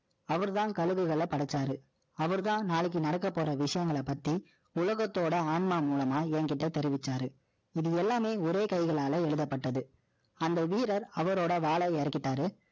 அவர்தான், கழுகுகளை படைச்சாரு. அவர்தான், நாளைக்கு நடக்கப் போற விஷயங்களை பத்தி, உலகத்தோட ஆன்மா மூலமா, என்கிட்ட தெரிவிச்சாரு இது எல்லாமே, ஒரே கைகளால எழுதப்பட்டது. அந்த வீரர், அவரோட வாளை இறக்கிட்டாரு.